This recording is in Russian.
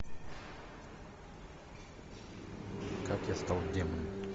как я стал демоном